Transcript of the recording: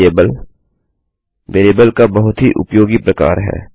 gate variable variable का बहुत ही उपयोगी प्रकार है